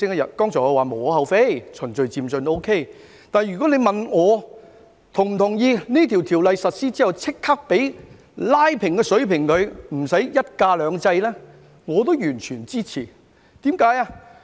我剛才說無可厚非，可以順序漸進；但如果你問我是否同意在條例實施後立即拉平，取消"一假兩制"，我亦完全支持。